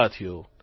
સાથીઓ